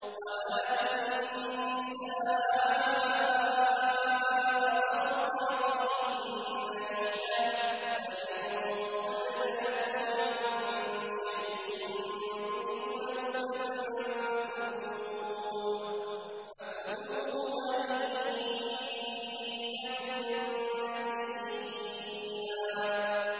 وَآتُوا النِّسَاءَ صَدُقَاتِهِنَّ نِحْلَةً ۚ فَإِن طِبْنَ لَكُمْ عَن شَيْءٍ مِّنْهُ نَفْسًا فَكُلُوهُ هَنِيئًا مَّرِيئًا